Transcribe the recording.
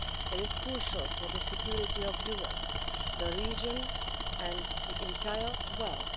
It is crucial for the security of Europe, the region and the entire world.